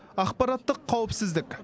ақпараттық қауіпсіздік